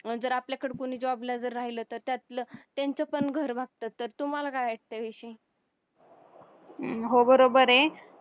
जर आपल्याकड कोणी job ला जर राहिलं तर त्यातलं त्यांचं पण घर भागत तर तुम्हाला काय वाटतं याविषयी